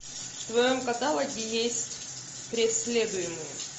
в твоем каталоге есть преследуемые